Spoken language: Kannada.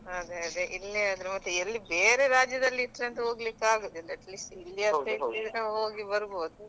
ಅದೇ ಅದೇ ಇಲ್ಲೇ ಆದ್ರೆ ಮತ್ತೆ ಎಲ್ಲಿ ಬೇರೆ ರಾಜ್ಯದಲ್ಲಿ ಇಟ್ರಂತು ಹೋಗ್ಲಿಕ್ಕೆ ಆಗುದಿಲ್ಲ atleast ಇಲ್ಲಿಯಾದ್ರೆ ಹೋಗಿ ಬರ್ಬಹುದು.